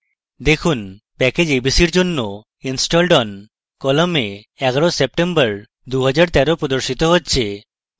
দেখুন package abc এর জন্য installed on column ১১ september ২০১৩ প্রদর্শিত হচ্ছে